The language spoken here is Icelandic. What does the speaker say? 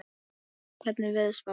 Óla, hvernig er veðurspáin?